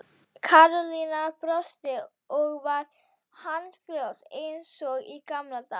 Karólína brosti og var handfljót eins og í gamla daga.